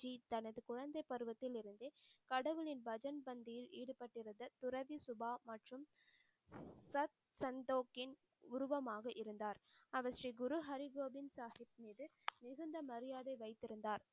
தனது குழந்தை பருவத்தில் இருந்து கடவுளின் பஜன்பந்தியில் ஈடுப்படிருந்த துரவி சுபா மற்றும் சத் சந்தோகேன் உருவமாக இருந்தார். அவர் ஸ்ரீ குரு ஹரி கோவிந்த் சாஹிப் மீது மிகுந்த மரியாதை வைத்திருந்தார்.